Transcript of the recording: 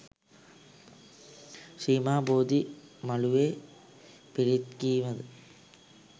ශ්‍රී මහ බෝධි මළුවේ පිරිත් කීමද